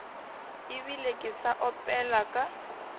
ebile ke sa opela ka